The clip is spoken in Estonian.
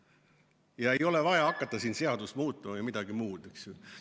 Ja ei ole vaja hakata siin seadust muutma või midagi muud, eks ju.